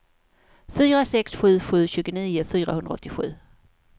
fyra sex sju sju tjugonio fyrahundraåttiosju